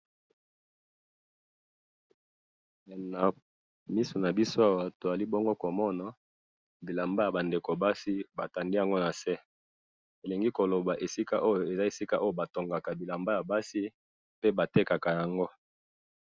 ndenge nazomona awa eza fruit awa eza na sahani ba fruit yango esangami ba fruit different ebele ekeseni heee ba fruit yango hee jaune, orange.